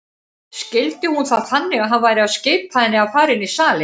Skildi hún það þannig að hann væri að skipa henni að fara inn í salinn?